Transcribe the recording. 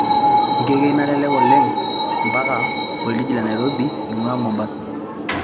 ngekei naalelek mpaka oljiji le nairobi eingua mombasa